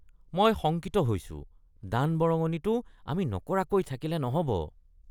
মই শংকিত হৈছোঁ! দান-বৰঙনিটো আমি নকৰাকৈ থাকিলে নহ’ব।